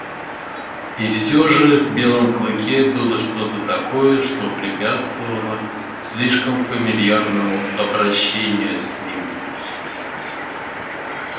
и все же в белом клыке было что то такое что препятствовало слишком фамильярному обращению с ним